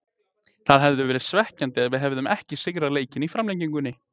Það hefði verið svekkjandi ef við hefðum ekki sigrað leikinn í framlengingunni.